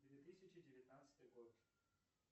две тысячи девятнадцатый год